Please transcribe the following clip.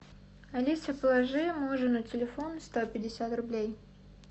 алиса положи мужу на телефон сто пятьдесят рублей